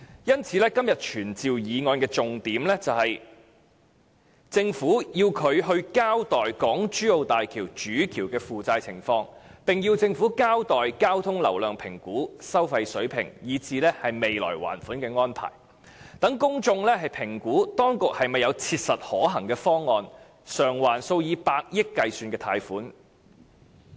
因此，今天傳召議案的重點是要求政府交代港珠澳大橋主橋的負債情況，並要求政府交代交通流量評估及收費水平，以至未來的還款安排，讓公眾評估當局是否有切實可行的方案償還數以百億元計的貸款。